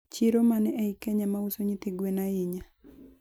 chiro mane eiy Kenya mauso nyithi gwen sana